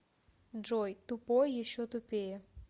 джой тупой еще тупее